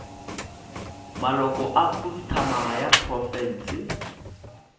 maloko a khuduthamaga ya profense